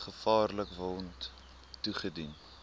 gevaarlike wond toegedien